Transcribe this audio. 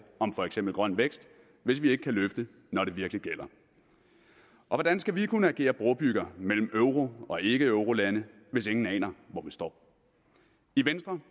for eksempel grøn vækst hvis vi ikke kan løfte når det virkelig gælder og hvordan skal vi kunne agere brobygger mellem euro og ikkeeurolande hvis ingen aner hvor vi står i venstre